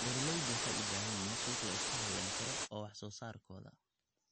Beeraleydu waxay u baahan yihiin suuq la isku halayn karo oo wax soo saarkooda.